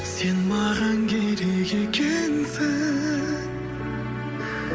сен маған керек екенсің